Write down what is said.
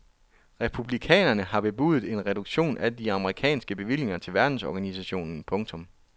Republikanerne har bebudet en reduktion af de amerikanske bevillinger til verdensorganisationen. punktum